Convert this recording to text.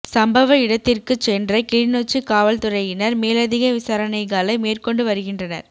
சம்பவ இடத்திற்குச் சென்ற கிளிநொச்சி காவல்துறையினர் மேலதிக விசாரணைகளை மேற்கொண்டு வருகின்றனா்